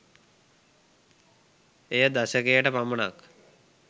එය දශකයට පමණක්